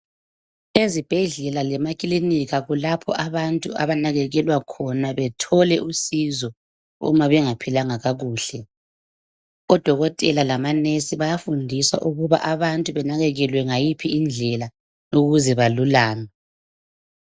Ezibhedlela lemakilinika kulapho abantu abanakekelwa khona bethole usizo uma bengaphilanga kakuhle. Odokotela lamanesi bayafundiswa ukuba abantu benakekelwe ngayiphi indlela ukuze belulame.